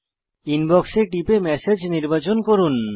inbox এ টিপে message নির্বাচন করুন